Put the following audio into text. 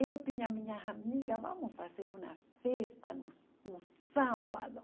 Eu tinha minhas amigas, vamos fazer uma festa no no sábado.